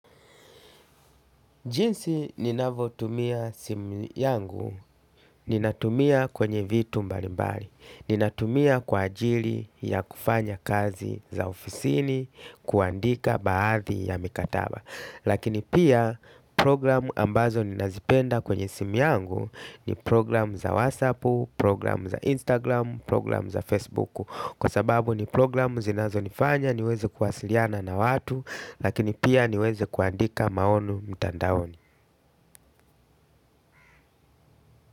Jinsi ninavotumia simu yangu, ninatumia kwenye vitu mbalimbali, ninatumia kwa ajili ya kufanya kazi za ofisini, kuandika baadhi ya mikataba. Lakini pia program ambazo ninazipenda kwenye simu yangu ni program za WhatsAppu, program za Instagram, program za Facebuku. Kwa sababu ni program zinazonifanya niweze kuwasiliana na watu lakini pia niweze kuandika maonu mtandaoni.